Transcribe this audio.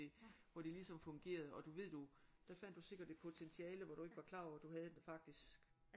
Hvor det ligesom fungerede og du ved du der fandt du sikkert et potentiale hvor du ikke var klar over at du havde den faktisk